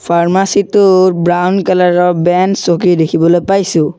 Pharmacy টো brown colour ৰ বেন চকী দেখিবলৈ পাইছোঁ।